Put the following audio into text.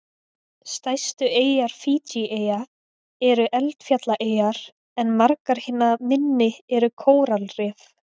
Stærstu eyjar Fídjieyja eru eldfjallaeyjar en margar hinna minni eru kóralrif.